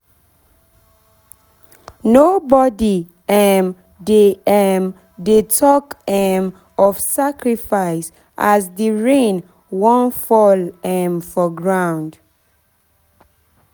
nobody um dey um dey talk um of sacrifice as the rain wan fall um for ground